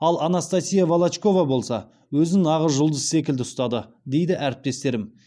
ал анастасия волочкова болса өзін нағыз жұлдыз секілді ұстады дейді әріптестерім